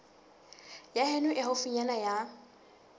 ya heno e haufinyana ya